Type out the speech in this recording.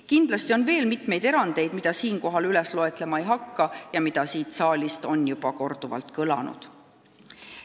Kindlasti on veel mitmeid erandeid, mida siinkohal loetlema ei hakka ja mida siin saalis on juba korduvalt mainitud.